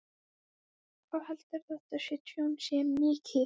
Jóhanna Margrét Gísladóttir: Hvað heldurðu að þetta tjón sé mikið?